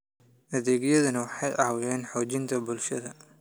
Adeegyadani waxay caawiyaan xoojinta bulshada.